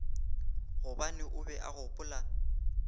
gobane o be a gopola